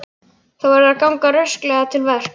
Þú verður að ganga rösklega til verks.